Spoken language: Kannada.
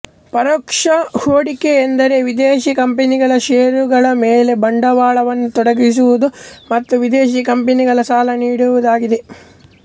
ಪರೋಕ್ಷ ಹೊಡಿಕೆ ಎಂದರೆ ವಿದೇಶಿ ಕಂಪನಿಗಳ ಶೇರುಗಳ ಮೇಲೆ ಬಂಡವಾಳವನ್ನು ತೊಡಗಿಸುವುದು ಮತ್ತು ವಿದೇಶಿಕಂಪನಿಗಳಿಗೆ ಸಾಲ ನೀಡುವುದಾಗಿದೆ